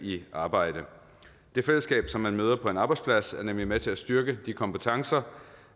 i arbejde det fællesskab som man møder på en arbejdsplads er nemlig med til at styrke de kompetencer